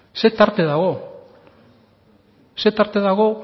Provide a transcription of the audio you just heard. zer tarte dago